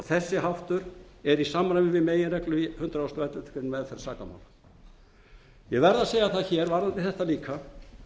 þessi háttur er í samræmi við meginreglur í hundrað og elleftu greinar um meðferð sakamála ég verð að segja það hér varðandi þetta líka